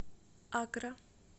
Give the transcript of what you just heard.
аккра